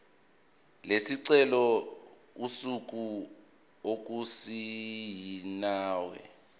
lesicelo usuku okusayinwe